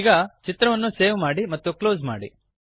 ಈಗ ಚಿತ್ರವನ್ನು ಸೇವ್ ಮಾಡಿ ಮತ್ತು ಕ್ಲೋಸ್ ಮಾಡಿ